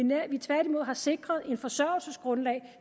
men at vi tværtimod har sikret et forsørgelsesgrundlag